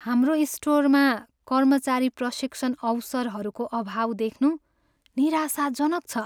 हाम्रो स्टोरमा कर्मचारी प्रशिक्षण अवसरहरूको अभाव देख्नु निराशाजनक छ।